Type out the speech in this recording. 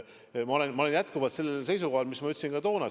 Ma olen jätkuvalt sellel seisukohal, mida ma väljendasin ka toona.